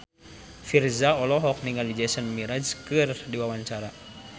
Virzha olohok ningali Jason Mraz keur diwawancara